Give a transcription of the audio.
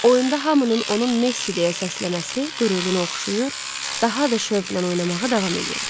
Oyunda hamının onun Messi deyə səsləməsi qürurunu oxşayır, daha da şövqlə oynamağı davam eləyirdi.